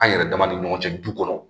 An yɛrɛ dama ni ɲɔgɔn cɛ du kɔnɔ